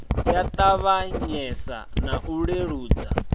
ya ṱavhanyesa na u leludza